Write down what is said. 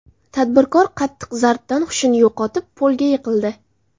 Tadbirkor qattiq zarbdan hushini yo‘qotib, polga yiqildi.